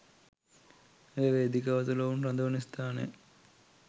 එය වේදිකාව තුළ ඔවුන් රඳවන ස්ථාන